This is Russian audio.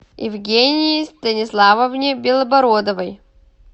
евгении станиславовне белобородовой